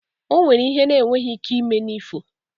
O nweghi ihe na-enweghi ike ime n’ifo